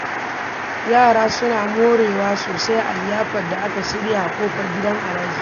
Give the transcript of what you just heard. Yara sun more sosai a liyafar da aka shirya a kofar gidan Alhaji.